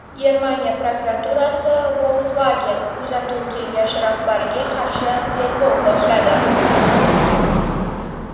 Germaniya prokuraturasi Volkswagen kuzatuv kengashi rahbariga qarshi tergov boshladi.